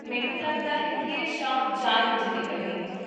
ਮੈਨੂੰ ਲੱਗਦਾ ਹੈ ਕਿ ਇਹ ਸ਼ਾਮ ਚਾਰ ਵਜੇ ਨਿਕਲਦੀ ਹੈ